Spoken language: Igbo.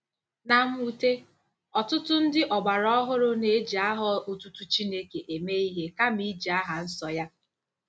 Na mwute, ọtụtụ ndị ọgbara ọhụrụ na-eji aha otutu Chineke eme ihe kama iji aha nsọ ya.